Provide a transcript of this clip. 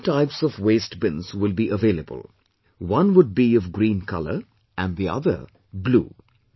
Two types of waste bins will be available, one would be of green colour and the other blue